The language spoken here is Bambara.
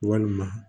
Walima